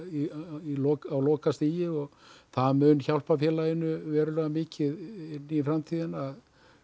á lokastigi það mun hjálpa félaginu verulega mikið inn í framtíðina